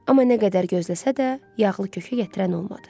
Amma nə qədər gözləsə də, yağlı kökə gətirən olmadı.